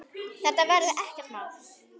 Þetta verði ekkert mál.